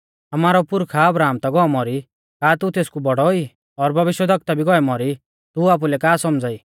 आमारौ पुरखा अब्राहम ता गौ मौरी का तू तेसकु बौड़ौ ई और भविष्यवक्ता भी गौऐ मौरी तू आपुलै का सौमझ़ाई